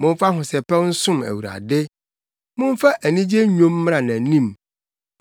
Momfa ahosɛpɛw nsom Awurade; momfa anigye nnwom mmra nʼanim.